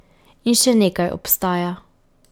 In še nekaj obstaja.